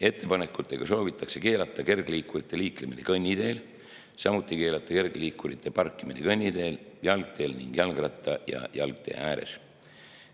Ettepanekutega soovitakse keelata kergliikurite liiklemine kõnniteel, samuti keelata kergliikurite parkimine kõnniteel, jalgteel ning jalgratta‑ ja jalgtee ääres.